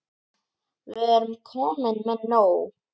Við erum komin með nóg.